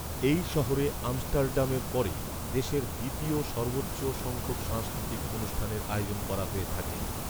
এই শহরে আমস্টার্ডামের পরে দেশের দ্বিতীয় সর্বোচ্চ সংখ্যক সাংস্কৃতিক অনুষ্ঠানের আয়োজন করা হয়ে থাকে